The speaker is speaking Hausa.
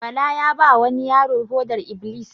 Bala ya ba ma wani yaro foɗar-iblis